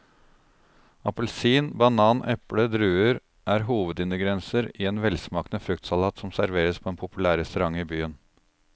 Appelsin, banan, eple og druer er hovedingredienser i en velsmakende fruktsalat som serveres på en populær restaurant i byen.